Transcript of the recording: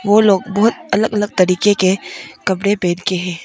वह लोग बहुत अलग अलग तरीके के कपड़े पहन के है।